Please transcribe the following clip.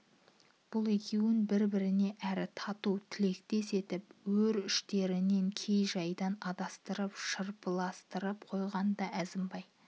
бұл екеуін бір-біріне әрі тату тілектес етіп өрі іштерінен кей жайдан андастырып шарпыстырып қойған да әзімбай